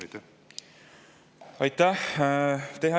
Aitäh!